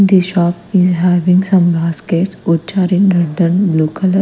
this shop having a some basket which are in red and blue colour.